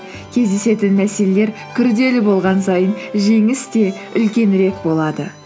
кездесетін мәселелер күрделі болған сайын жеңіс те үлкенірек болады